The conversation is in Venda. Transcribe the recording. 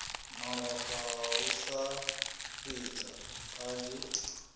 malofha hu sa fhidzi kanzhi